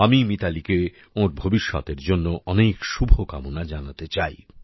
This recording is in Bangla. আমি মিতালীকে ওঁর ভবিষ্যতের জন্য অনেক শুভকামনা জানাতে চাই